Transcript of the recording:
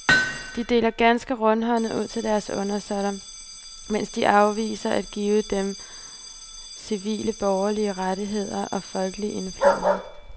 De deler ganske rundhåndet ud til deres undersåtter, mens de afviser at give dem civile borgerlige rettigheder og folkelig indflydelse.